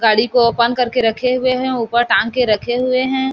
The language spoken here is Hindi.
गाड़ी को ओपन कर के रखे हुए है ऊपर टांग के रखे हुए है।